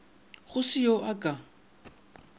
go se yo a ka